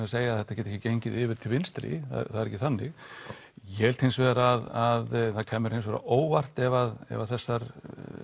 að segja að þetta geti ekki gengið yfir til vinstri það er ekki þannig ég held hins vegar að það kæmi mér hins vegar á óvart ef ef þessar